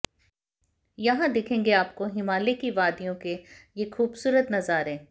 यहां दिखेंगे आपको हिमालय की वादियों के ये खूबसूरत नजारे